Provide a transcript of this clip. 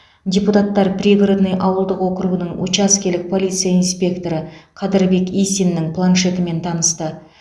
депутаттар пригородный ауылдық округінің учаскелік полиция инспекторы қадырбек исиннің планшетімен танысты